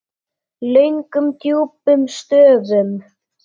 Löngum djúpum stöfum.